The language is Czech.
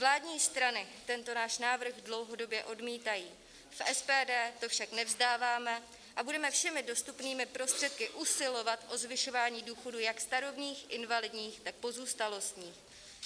Vládní strany tento náš návrh dlouhodobě odmítají, v SPD to však nevzdáváme a budeme všemi dostupnými prostředky usilovat o zvyšování důchodů jak starobních, invalidních, tak pozůstalostních.